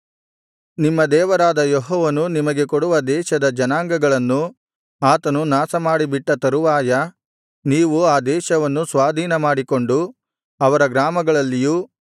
ನಿಮ್ಮ ದೇವರಾದ ಯೆಹೋವನು ನಿಮಗೆ ಕೊಡುವ ದೇಶದ ಜನಾಂಗಗಳನ್ನು ಆತನು ನಾಶಮಾಡಿ ಬಿಟ್ಟ ತರುವಾಯ ನೀವು ಆ ದೇಶವನ್ನು ಸ್ವಾಧೀನಮಾಡಿಕೊಂಡು ಅವರ ಗ್ರಾಮಗಳಲ್ಲಿಯೂ